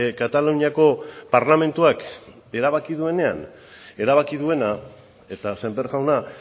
kataluniako parlamentuak erabaki duenean erabaki duena eta sémper jauna